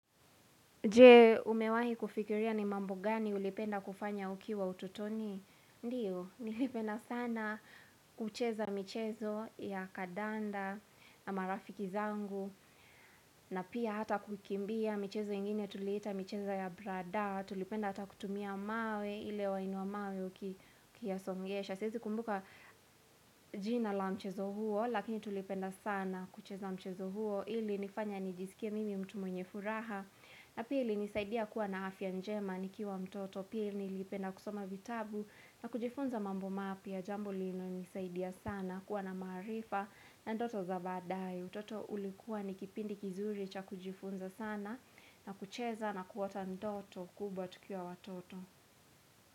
Je umewahi kufikiria ni mambo gani ulipenda kufanya ukiwa utotoni Ndiyo, nilipenda sana kucheza michezo ya kadanda na marafiki zangu na pia hata kukimbia michezo ingine tulita michezo ya brada Tulipenda hata kutumia mawe, ile wainuwa mawe ukiyasongesha Sizi kumbuka jina la mchezo huo, lakini tulipenda sana kucheza mchezo huo Ili nifanya nijisikia mimi mtu mwenye furaha na pili nisaidia kuwa na afya njema ni kiwa mtoto pili nilipenda kusoma vitabu na kujifunza mambo mapi ya jambu lino nisaidia sana kuwa na marifa na ndoto za badai. Utoto ulikuwa ni kipindi kizuri cha kujifunza sana na kucheza na kuota ndoto kubwa tukiwa watoto.